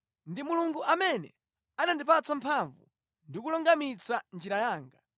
Ndi Mulungu amene anandipatsa mphamvu ndi kulungamitsa njira yanga.